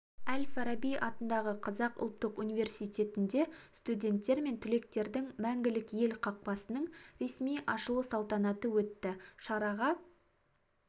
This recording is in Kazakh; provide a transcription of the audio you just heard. әл-фараби атындағы қазақ ұлттық университетінде студенттер мен түлектердің мәңгілік ел қақпасының ресми ашылу салтанаты өтті шараға